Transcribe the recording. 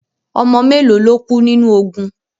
Ọmọ mélo lo kú nínu ogun?